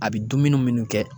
A bi dumuni munnu kɛ